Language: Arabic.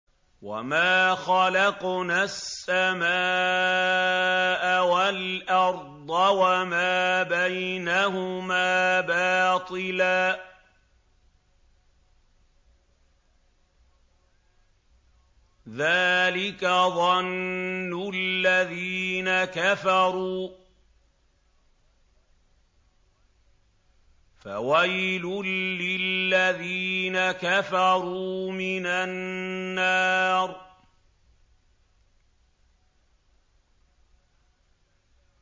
وَمَا خَلَقْنَا السَّمَاءَ وَالْأَرْضَ وَمَا بَيْنَهُمَا بَاطِلًا ۚ ذَٰلِكَ ظَنُّ الَّذِينَ كَفَرُوا ۚ فَوَيْلٌ لِّلَّذِينَ كَفَرُوا مِنَ النَّارِ